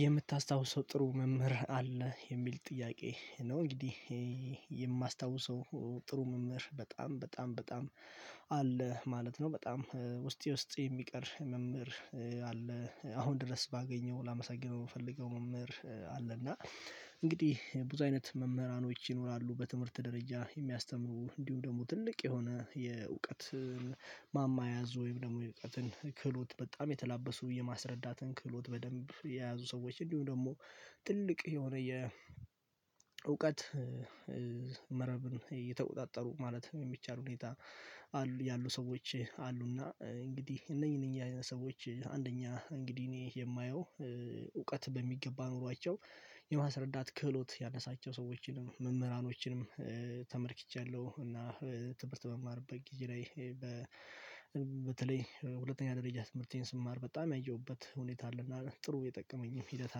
የምታስታውሰው ጥሩ መምህር አለ የሚል ጥያቄ ነው? እንግዲህ የማስታውሰው ጥሩ መምህር በጣም በጣም በጣም አለ ማለት ነው። በጣም ውስጤ ውስጤ የሚቀር መምህር አለ አሁን ድረስ ባገኘው ላመሰግነው የምፈልገው መምህር አለ። እና እንግዲህ ብዙ አይነት መምህራኖች ይኖራሉ በትምህርት ደረጃ የሚያስተምሩ እንዲሁም ደግሞ ትልቅ የሆነ የእውቀት ማማ የያዙ ወይም ደግሞ የእውቀትን ክህሎት በጣም የተላበሱ የማስረዳትን ክህሎት በደንብ የያዙ ሰዎች እንዲሁም ደግሞ ትልቅ የሆነ የእውቀት መረብን እየተቆጣጠሩ ማለት የሚቻል ሁኔታ አሉ ያሉ ሰዎች አሉና እንግዲህ እነኚህ እነኚህ አይነት ሰዎች አንደኛ እንግዲህ እኔ የማየው እውቀት በሚገባ ኖሯቸው የማስረዳት ክህሎት ያነሳቸው ሰዎችንም መምህራኖችንም ተመልክቻለሁ። እና ትምህርት በመማርበት ጊዜ ላይ በበተለይ ሁለተኛ ደረጃ ትምህርቴን ስማር በጣም ያየሁበት ሁኔታ አለና ጥሩ የጠቀመኝም ሂደት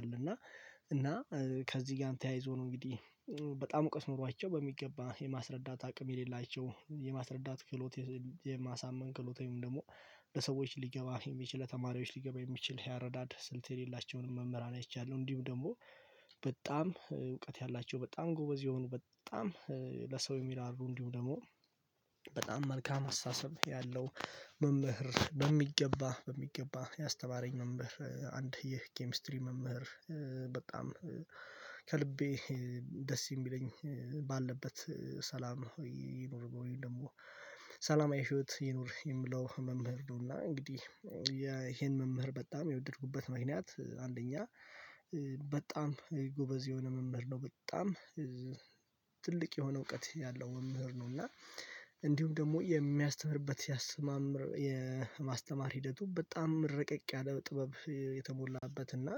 አለና እና ከዚህ ጋር ተያይዞ ነው እንግዲህ በጣም እውቀት ኖሯቸው በሚገባ የማስረዳት አቅም የሌላቸው የማስረዳት ክህሎት የማሳመን ክሎት ወይም ደግሞ ለሰዎች ሊገባ የሚችል ለተማሪዎች ሊገባ የሚችል የ አርዳድ ስልት የሌላቸውንም መምህራን አይቻለሁ። እንዲሁም ደግሞ በጣም እውቀት ያላቸው በጣም ጎበዝ የሆኑ በጣም ለሰው የሚራሩ እንዲሁም ደግሞ በጣም መልካም አስተሳሰብ ያለው መምህር በሚገባ በሚገባ ያስተማረኝ መምህር አንድ ይህ የኬሚ ስትሪ መምህር በጣም ከልቤ ደስ የሚለኝ ባለበት ሰላም ይኑር ደግሞ ሰላማዊ ህይወት ይኑር የምለው መምህር ነው። እና እንግዲህ ያይሄን መምህር በጣም የወደድኩበት ምክንያት አንደኛ በጣም ጎበዝ የሆነ መምህር ነው በጣም ትልቅ የሆነ እውቀት ያለው መምህር ነው እና እንዲሁም ደግሞ የሚያስተምርበት ሲያስማምር የማስተማር ሂደቱ በጣም ረቀቅ ያለ ጥበብ የተሞላበት እና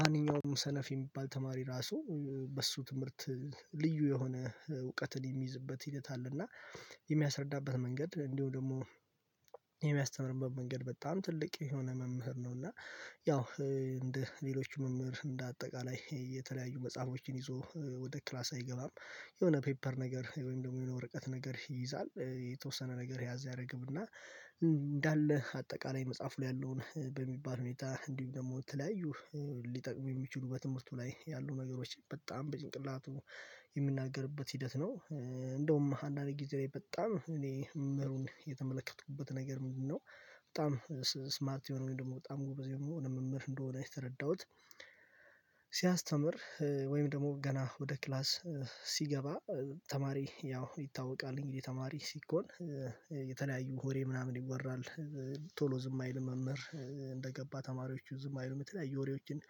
ማንኛውም ሰነፍ የሚባል ተማሪ ራሱ በሱ ትምህርት ልዩ የሆነ እውቀትን የሚይዝበት ሂደት አለ እና የሚያስረዳበት መንገድ እንዲሁም ደግሞ የሚያስተምርበት መንገድ በጣም ትልቅ የሆነ መምህር ነው። እና ያው እንደ ሌሎች መምህር እንደ አጠቃላይ የተለያዩ መጽሐፎችን ይዞ ወደ ክላስ አይገባም የሆነ ፔፐር ነገር ወይም ደግሞ የሆነ ወረቀት ነገር ይይዛል የተወሰነ ነገር ያዝ ያደርግ እና እንዳለ አጠቃላይ መጽሐፉ ላይ ያለውን በሚባል ሁኔታ እንዲሁ ደግሞ የተለያዩ ሊጠቅሙ የሚችሉ በትምህርቱ ላይ ያሉ ነገሮች በጣም በጭንቅላቱ የሚናገርበት ሂደት ነው። እንደውም አንዳንድ ጊዜ ላይ በጣም እኔ መምህሩን የተመለከቱበት ነገር ምንድነው? በጣም ስማርት የሆነ ወይም ደግሞ በጣም ጎበዝ የሆነ መምህር እንደሆነ የተረዳሁት ሲያስተምር ወይም ደግሞ ገና ወደ ክላስ ሲገባ ተማሪ ያው ይታወቃልኝ እንግዲህ ተማሪ ሲኮን የተለያዩ ወሬ ምናምን ይወራል ቶሎ ዝም አይል መምህር እንደገባ ተማሪዎቹ ዝም አይሉም የተለያዩ ወሬዎችን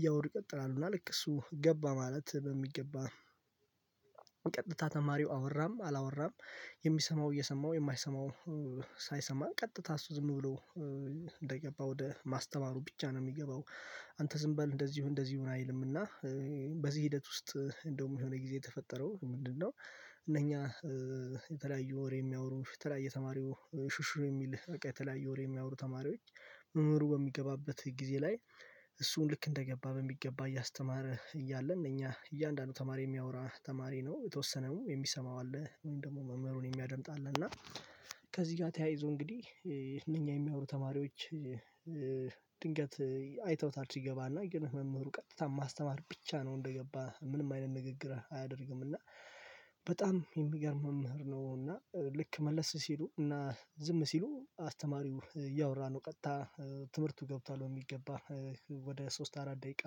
እያወሩ ይቀጥላሉ እና ልክ እሱ ገባ ማለት በሚገባ ቀጥታ ተማሪው አወራም አላወራም የሚሰማው እየሰማው የማይሰማው ሳይሰማ ቀጥታ እሱ ዝም ብሎ እንደገባ ወደ ማስተማሩ ብቻ ነው የሚገባው። አንተ ዝንበል እንደዚሁ እንደዚሁ አይልምና በዚህ ሂደት ውስጥ እንደውም የሆነ ጊዜ የተፈጠረው ምንድነው? እነኛ የተለያዩ ወሬ የሚያወሩ የተለያየ የተማሪው ሹሹ የሚል በቃ የተለያየ ወሬ የሚያወሩ ተማሪዎች መምህሩ በሚገባበት ጊዜ ላይ እሱን ልክ እንደገባ በሚገባ እያስተማረ እያለን እኛ እያንዳንዱ ተማሪ የሚያወራ ተማሪ ነው የተወሰነው የሚሰማው አለ ወይም ደግሞ መምህሩን የሚያደምጥ አለ እና ከዚህ ጋር ተያይዞ እንግዲህ እነኛ የሚያወሩ ተማሪዎች ድንገት አይተውታል ሲገባና ግን መምህሩ ቀጥታ ማስተማር ብቻ ነው እንደገባ ምንም አይነት ንግግር አያደርግም እና በጣም የሚገርም መምህር ነው። እና ልክ መለስ ሲሉ እና ዝም ሲሉ አስተማሪው እያወራ ነው ቀጥታ ትምህርቱ ገብቷል በሚገባ ወደ ሶስት አራት ደቂቃ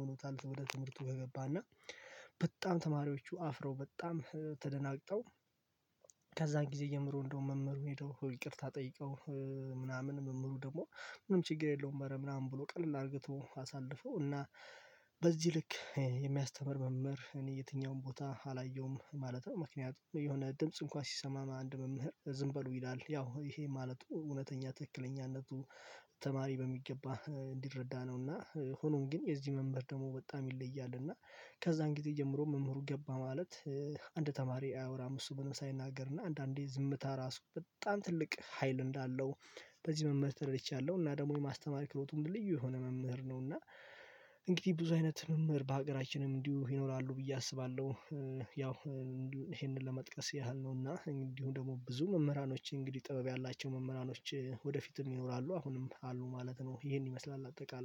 ሆኖታል ወደ ትምህርቱ ከገባና በጣም ተማሪዎቹ አፍረው በጣም ተደናግጠው ከዛ ጊዜ ጀምሮ እንደው መምህሩን ሄደው ይቅርታ ጠይቀው ምናምን መምህሩ ደግሞ ምንም ችግር የለውም አረ ምናምን ብሎ ቀለል አድርጎ ተወው አሳለፈው እና በዚህ ልክ የሚያስተምር መምህር እኔ የትኛውም ቦታ አላየውም ማለት ነው። ምክንያቱም የሆነ ድምጽ እንኳን ሲሰማ አንድ መምህር ዝም በሉ ይላል ያው ይሄ ማለት እውነተኛ ትክክለኛነቱ ተማሪ በሚገባ እንዲረዳ ነውና ሆኖም ግን የዚህ መምህር ደግሞ በጣም ይለያል። እና ከዛ ጊዜ ጀምሮ መምህሩ ገባ ማለት አንድ ተማሪ አያወራም እሱ ምንም ሳይናገር እና አንዳንዴ ዝምታ ራሱ በጣም ትልቅ ሀይል እንዳለው በዚህ መምህር ተረድርቻለሁ እና ደግሞ የማስተማር ክህሎቱን ልዩ የሆነ መምህር ነው። እና እንግዲህ ብዙ አይነት መምህር በሀገራችንም እንዲሁ ይኖራሉ ብዬ አስባለሁ ያው ይሄንን ለመጥቀስ ያህል ነውና እንዲሁ ደግሞ ብዙ መምህራኖች እንግዲህ ጥበብ ያላቸው መምህራኖች ወደፊትም ይኖራሉ አሁንም አሉ ማለት ነው። ይሄን ይመስላል አጠቃላይ